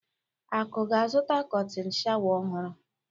Akụ ga-azụta kọtịn sháwà ọhụrụ.